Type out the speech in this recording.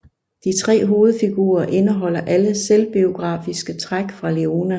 De tre hovedfigurer indeholder alle selvbiografiske træk fra Leone